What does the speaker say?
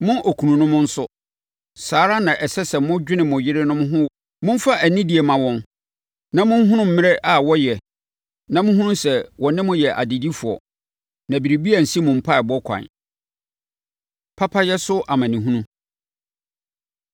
Mo okununom nso, saa ara na ɛsɛ sɛ modwene mo yerenom ho wɔ mo asetena mu. Momfa anidie mma wɔn na monhunu mmerɛ a wɔyɛ na monhunu sɛ wɔne mo yɛ adedifoɔ, na biribi ansi mo mpaeɛbɔ ɛkwan. Papayɛ So Amanehunu